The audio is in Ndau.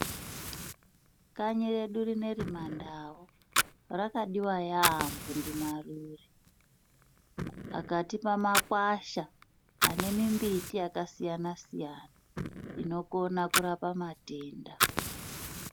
Kanyi redu rinoiri mandau rakadiwa yaamho ndimarure akatipe makwasha anemimbiti yakasiyanasiyana inokona kurapa matenda.